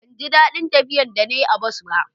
ban ji dadin tafiya da na yi a bas ba